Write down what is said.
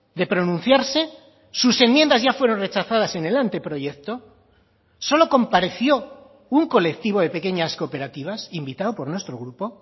de pronunciarse sus enmiendas ya fueron rechazadas en el anteproyecto solo compareció un colectivo de pequeñas cooperativas invitado por nuestro grupo